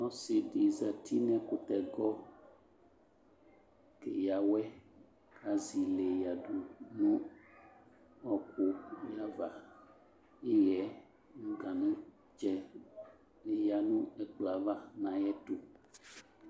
Ɔsi di zati nʋ ɛkʋtɛgɔ keya wɛ, kazi le yadu nʋ ɔɔkʋ n'iava Iɣɛ, ganʋtsɛ bi yanʋ ɛkplʋɔ ava na yɛ tʋ